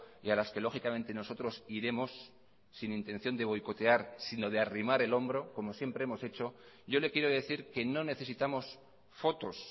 y a las que lógicamente nosotros iremos sin intención de boicotear sino de arrimar el hombro como siempre hemos hecho yo le quiero decir que no necesitamos fotos